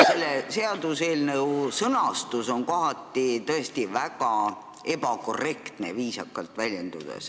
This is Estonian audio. Seaduseelnõu sõnastus on kohati tõesti väga ebakorrektne, viisakalt väljendudes.